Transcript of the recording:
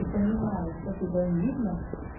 ты понимаешь что тебя не видно